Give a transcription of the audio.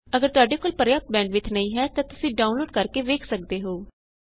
ਅਗਰ ਤੁਹਾਡੇ ਕੋਲ ਪ੍ਰਯਾਪਤ ਬੈੰਡਵਿਥ ਨਹੀਂ ਹੈ ਤਾਂ ਤੁਸੀਂ ਡਾਊਨਲੋਡ ਕਰਕੇ ਵੇਖ ਸਕਦੇ ਹੋ